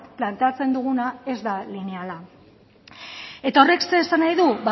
planteatzen duguna ez da lineala eta horrek zer esan nahi du